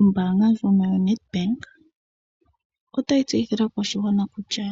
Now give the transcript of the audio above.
Ombaanga ndjono yaNedbank otayi tseyithile aakwashigwana kutya